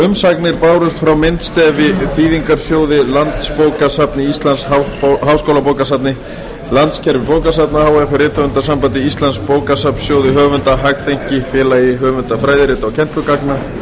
umsagnir bárust frá myndstefi þýðingarsjóði landsbókasafni íslands háskólabókasafni landskerfi bókasafna h f rithöfundasambandi íslands bókasafnssjóði höfunda hagþenki félagi höfunda fræðirita og kennslugagna